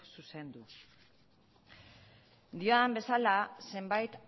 zuzendu diodan bezala zenbait